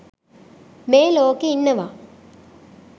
මේ ලෝකෙ ඉන්නවා.